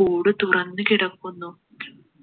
കൂട് തുറന്നു കിടക്കുന്നു